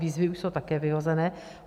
Výzvy už jsou také vyhozené.